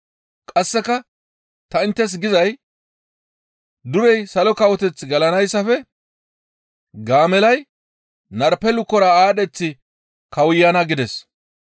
Qasseka tani inttes gizay durey Salo Kawoteth gelanayssafe gaamellay narpe lukora aadheththi kawuyana» gides. Caanara diza Gaamellata